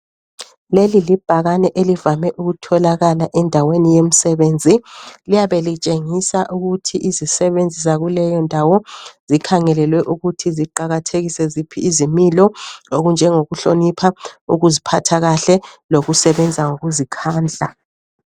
Leli libhakane elivame ukutholakala endaweni yemsebenzi, liyabe litshengisa ukuthi izisebenzi zakuleyo ndawo zikhangelelwe ukuthi ziqakathekise ziphi izimilo okunjengo kuhlonipha, ukuzphatha kahle lokusebenza ngokuzikhandla.